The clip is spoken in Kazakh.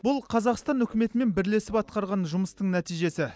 бұл қазақстан үкіметімен бірлесіп атқарған жұмыстың нәтижесі